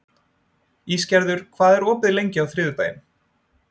Ísgerður, hvað er opið lengi á þriðjudaginn?